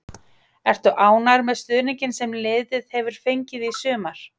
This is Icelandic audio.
Ertu ánægður með stuðninginn sem liðið hefur fengið í sumar?